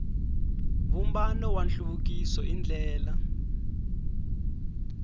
vumbano wa nhluvukiso i ndlela